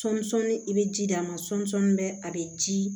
Sɔmisɔnni i bɛ ji d'a ma sɔmisɔni bɛ a bɛ ji